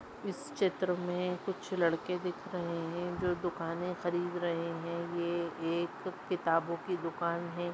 इस चित्र मे कुछ लड़के दिख रहे है जो दुकाने खरीद रहे है ये एक किताबों की दुकान है।